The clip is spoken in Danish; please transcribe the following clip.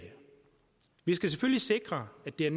vi skal selvfølgelig sikre at det er